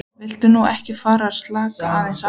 Viltu nú ekki fara að slaka aðeins á!